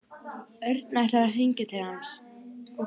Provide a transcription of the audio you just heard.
Örn ætlar að hringja til hans.